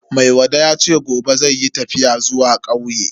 Maiwada yace gobe zai yi tafiya zuwa kauye.